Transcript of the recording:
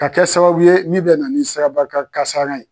Ka kɛ sababu ye min bɛ na ni siraba ka kan kasara ye